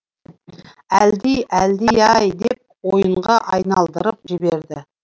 әлди әлди ай деп ойынға айналдырып жіберді